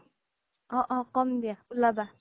অ অ ক'ম দিয়া ওলাবা